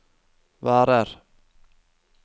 varer